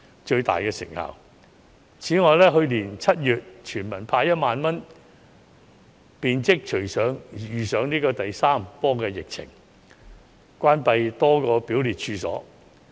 此外，政府在去年7月向全體市民派發1萬元後，隨即遇上第三波疫情，多個表列處所關閉。